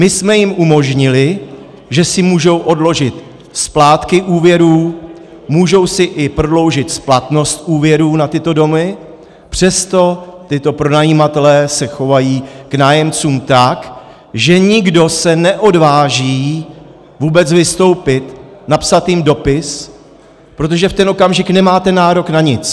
My jsme jim umožnili, že si můžou odložit splátky úvěrů, můžou si i prodloužit splatnost úvěrů na tyto domy, přesto tito pronajímatelé se chovají k nájemcům tak, že nikdo se neodváží vůbec vystoupit, napsat jim dopis, protože v ten okamžik nemáte nárok na nic.